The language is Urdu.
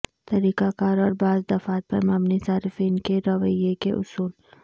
طریقہ کار اور بعض دفعات پر مبنی صارفین کے رویے کے اصول